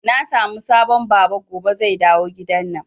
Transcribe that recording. Na samu sabon Baba gobe zai dawo gidanan